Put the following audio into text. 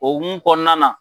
O okumu kɔnɔna na.